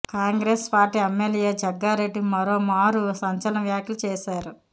Congress party MLA Jaggareddy మరోమారు సంచలన వ్యాఖ్యలు చేశారు